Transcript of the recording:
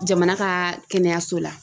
Jamana ka kɛnɛyaso la.